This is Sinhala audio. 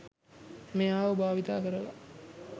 මෙයාව භාවිතා කරලා